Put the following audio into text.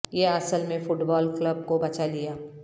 یہ اصل میں فٹ بال کلب کو بچا لیا